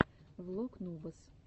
влог нубас